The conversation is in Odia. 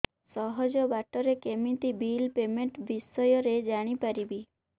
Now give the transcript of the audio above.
ସହଜ ବାଟ ରେ କେମିତି ବିଲ୍ ପେମେଣ୍ଟ ବିଷୟ ରେ ଜାଣି ପାରିବି